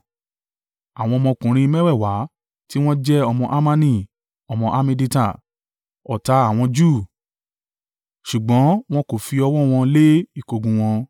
Àwọn ọmọkùnrin mẹ́wẹ̀ẹ̀wá tí wọ́n jẹ́ ọmọ Hamani, ọmọ Hammedata, ọ̀tá àwọn Júù. Ṣùgbọ́n wọn kò fi ọwọ́ wọn lé ìkógun un wọn.